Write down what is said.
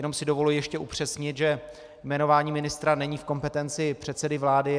Jenom si dovoluji ještě upřesnit, že jmenování ministra není v kompetenci předsedy vlády.